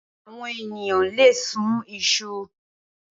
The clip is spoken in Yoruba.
Awòn éniyàn lé sún iṣú